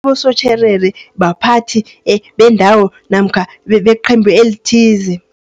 Abosotjherere baphathi bendawo namkha beqembu elithize.